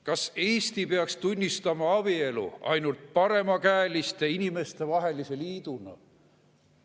Kas Eesti peaks tunnistama abielu ainult paremakäeliste inimeste vahelise liiduna?